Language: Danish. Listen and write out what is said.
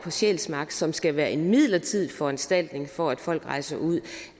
sjælsmark som skal være en midlertidig foranstaltning for at folk rejser ud